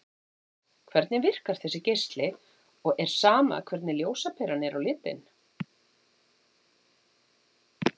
Hvernig virkar þessi geisli og er sama hvernig ljósaperan er á litinn?